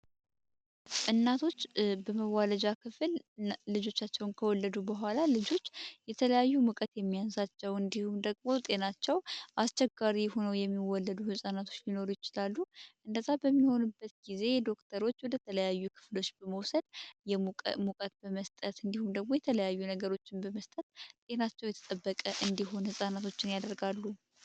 እናቶች በመዋለጃ ክፍል ልጆቻቸውን ከወለዱ በኋላ ልጆች የተለያዩ ሙቀት የሚያንሳቸው እንዲሁም ደግሞ ጤናቸው አስቸጋሪ ሆነው የሚወለዱ ሕፃናቶች ሊኖሩ ይችላሉ እነዛ በሚሆኑበት ጊዜ ዶክተሮች ወደ ተለያዩ ክፍሎች በመውሰድ የሙቀት በመስጠት እንዲሁም ደግሞ የተለያዩ ነገሮችን በመስጠት ጤናቸው የተጠበቀ እንዲሆነ ሕፃናቶችን ያደርጋሉ።